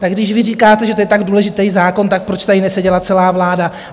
Tak když vy říkáte, že to je tak důležitý zákon, tak proč tady neseděla celá vláda?